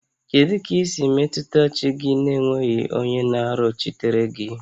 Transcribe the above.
Kedu ka i si metụta chi gị n'enweghị onye na-arịọchitere gị?